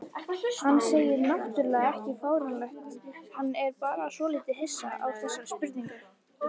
Hann segir náttúrlega ekki fáránlegt, hann er bara svolítið hissa á þessari spurningu.